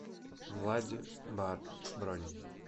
влади бар бронь